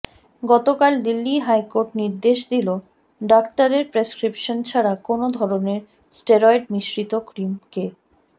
গতকাল দিল্লি হাইকোর্ট নির্দেশ দিল ডাক্তারের প্রেসক্রিপশান ছাড়া কোনও ধরনের স্টেরয়েড মিশ্রিত ক্রিম কে